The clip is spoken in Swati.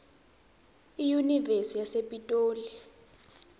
iyunivesi yasepitoli